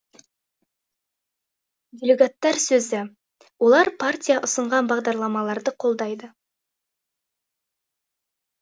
делегаттар сөзі олар партия ұсынған бағдарламаларды қолдайды